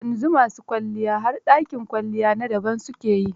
Yanzu ma su kwalliya har dakin kwalliya na daban su ke yi.